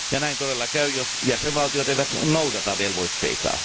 Ja näin todella käy, jos jäsenvaltiot eivät noudata velvoitteitaan.